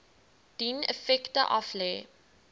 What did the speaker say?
dien effekte aflê